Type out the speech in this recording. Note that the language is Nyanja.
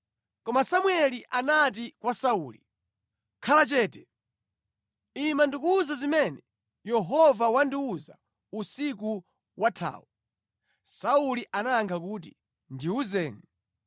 Koma Samueli anati kwa Sauli, “Khala chete! Ima ndikuwuze zimene Yehova wandiwuza usiku wathawu.” Sauli anayankha kuti, “Ndiwuzeni.”